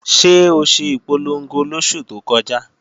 Ṣé o ṣe ìpolongo lóṣù tó kọjá?